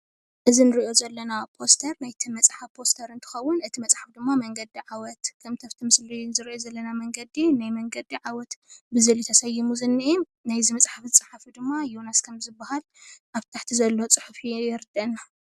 እዚ እንሪኦ ዘለና ፖስተር ናይ እቲ መፅሓፍ ፖስተር እንትከውን እቲ መፅሓፍ ድማ መንገዲ ዓወት ከምቲ ኣብቲ ምስሊ እንሪኦ ዘለና መንገዲ ናይ መንገዲ ዓወት ብዝብል እዩ ተሰይሙ ዝኔአ፡፡ ናይእዚ መፅሓፍ ዝፃሓፈ ድማ ዮናስ ከም ዝባሃል፡፡ ኣብቲ ታሕቲ ዘሎ ፅሑፍ የርደአና፡፡